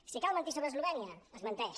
si cal mentir sobre eslovènia es menteix